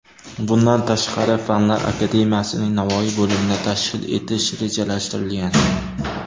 Bundan tashqari, Fanlar akademiyasining Navoiy bo‘limini tashkil etish rejalashtirilgan .